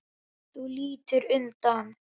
Þú lítur undan.